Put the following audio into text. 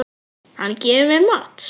Hann gefur mér mat.